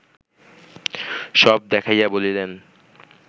সব দেখাইয়া বলিলেন